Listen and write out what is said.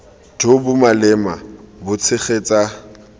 jo bo maleba bo tshegetsa